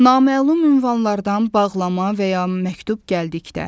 Naməlum ünvanlardan bağlama və ya məktub gəldikdə.